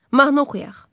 Mahnı oxuyaq.